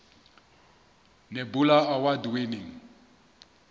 nebula award winning